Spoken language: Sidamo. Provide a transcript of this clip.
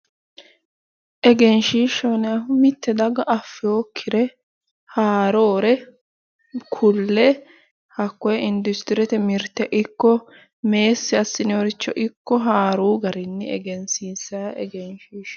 Egenishiishaho yinayihu mitte daga afewokkire haaroore kulle hakkoye indusitrete mirte ikko meesi assinoy richo ikko haaruu garinni ehenisiinisay egenishiishaati